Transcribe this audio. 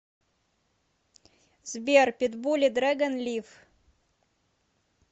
сбер питбули дрэгон лив